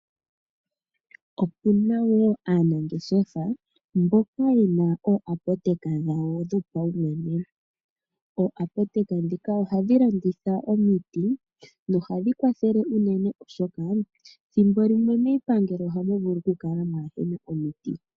Opu na wo aanangeshefa mboka ye na ooapoteka dhawo dhopaumwene. Ooapoteka ndhika ohadhi landitha omiti nohadhi kwathele unene, oshoka ethimbo limwe miipangelo ohamu vulu okukala mwaa he na omiti.